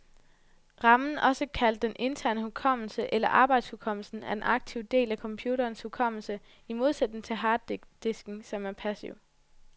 Ramen, også kaldet den interne hukommelse eller arbejdshukommelsen, er den aktive del af computerens hukommelse, i modsætning til harddisken, som er passiv.